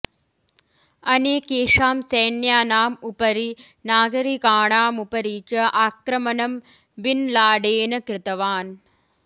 अनेकेषां सैन्यानामुपरि नागरिकाणामुपरि च आक्रमणं बिन् लाडेन् कृतवान्